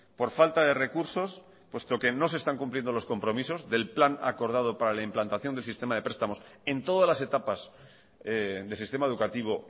por falta de recursos puesto que no se están cumpliendo los compromisos del plan acordado para la implantación del sistema de prestamos en todas las etapas del sistema educativo